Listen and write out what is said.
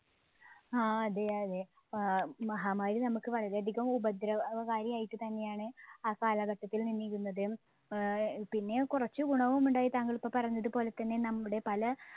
ആ അതെയതെ ആഹ് മഹാമാരി നമ്മുക്ക് വളരെയധികം ഉപദ്രവകാരിയായിട്ട് തന്നെയാണ് ആ കാലഘട്ടത്തിൽ നിന്നിരുന്നത്. ഏർ പിന്നെ കുറച്ചു ഗുണവും ഉണ്ടായി താങ്കളിപ്പോ പറഞ്ഞത് പോലെത്തന്നെ നമ്മുടെ പല